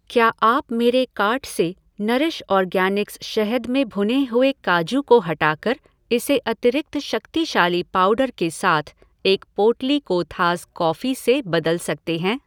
क्या आप मेरे कार्ट से नरिश ऑर्गैनिक्स शहद में भुने हुए काजू को हटाकर इसे अतिरिक्त शक्तिशाली पाउडर के साथ एक पोटली कोथाज़ कॉफ़ी से बदल सकते हैं?